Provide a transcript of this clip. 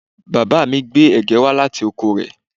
Bàbá mi gbé ẹ̀gẹ́ wá láti oko rẹ̀